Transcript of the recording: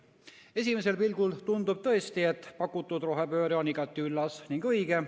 Esimesel pilgul tundub tõesti, et pakutud rohepööre on igati üllas ja õige.